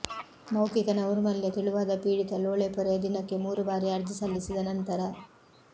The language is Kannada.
ಮೌಖಿಕ ನೈರ್ಮಲ್ಯ ತೆಳುವಾದ ಪೀಡಿತ ಲೋಳೆಪೊರೆಯ ದಿನಕ್ಕೆ ಮೂರು ಬಾರಿ ಅರ್ಜಿ ಸಲ್ಲಿಸಿದ ನಂತರ